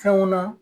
Fɛnw na